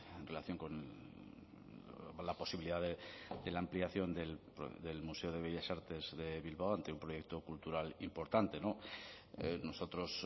en relación con la posibilidad de la ampliación del museo de bellas artes de bilbao ante un proyecto cultural importante nosotros